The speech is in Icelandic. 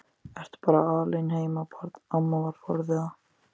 Ertu bara alein heima barn? amma var forviða.